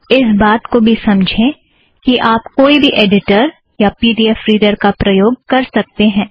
इस बात को भी समझें कि आप कोई भी ऐड़िटर या पी ड़ी ऐफ़ रीड़र का प्रयोग कर सकतें हैं